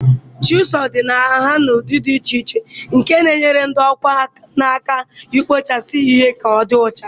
Chisu dị nha na ụdị dị iche iche, nke na-enyere ndị ọkwá nkà aka ịkpụchasị ihe ka ọdị ọcha.